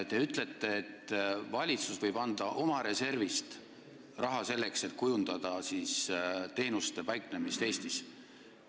Te ütlete, et valitsus võib anda oma reservist raha selleks, et kujundada teenuste paiknemist Eestis.